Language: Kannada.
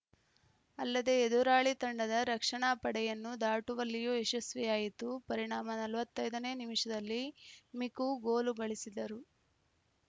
ಅಲ್ಲದೇ ಎದುರಾಳಿ ತಂಡದ ರಕ್ಷಣಾ ಪಡೆಯನ್ನು ದಾಟುವಲಿಯು ಯಶಸ್ವಿಯಾಯಿತು ಪರಿಣಾಮ ನಲವತ್ತ್ ಐದ ನೇ ನಿಮಿಷದಲ್ಲಿ ಮಿಕು ಗೋಲುಗಳಿಸಿದರು